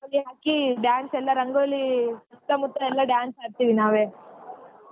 ರಂಗೋಲಿ ಹಾಕಿ dance ಎಲ್ಲಾ ರಂಗೋಲಿ ಸುತ್ತಾ ಮುತ್ತಾ ಎಲ್ಲಾ dance ಆಡ್ತೀವಿ ನಾವ್.